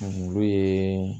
olu ye